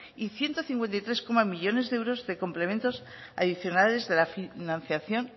y ciento cincuenta y tres millónes de euros de complementos adicionales de la financiación